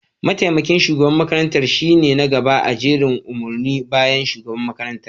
mataimakin shugaban makarantar shine na gaba a jerin umarni bayan shugaban makarantar